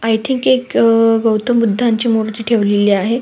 I think एक गौतम बुद्ध यांची मूर्ती ठेवलेली आहे.